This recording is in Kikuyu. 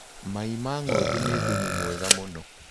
Mai ma ng'ondu nĩ thumu mwega mũno.